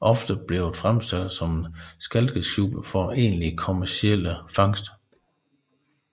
ofte blevet fremstillet som et skalkeskjul for egentlig kommerciel fangst